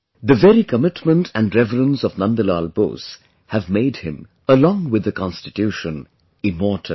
The very commitment & reverence of Nandlal Bose have made him, along with the Constitution, immortal